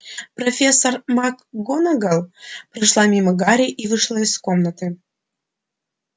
профессор макгонагалл прошла мимо гарри и вышла из комнаты